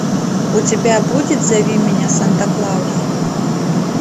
у тебя будет зови меня санта клаус